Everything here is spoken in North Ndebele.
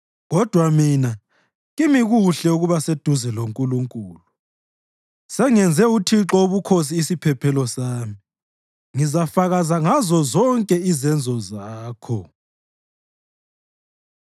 Kodwa mina kimi kuhle ukuba seduze loNkulunkulu. Sengenze uThixo Wobukhosi isiphephelo sami; ngizafakaza ngazozonke izenzo zakho.